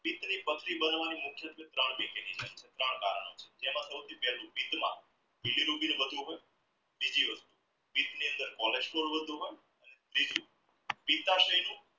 પથરી બનવાની મોટું કારણ ત્રણ કારણ જેમાં સાવથી પેહલુ બીજી વસ્તુ ની અંદર cholesterol વધવું